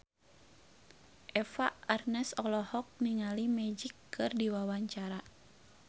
Eva Arnaz olohok ningali Magic keur diwawancara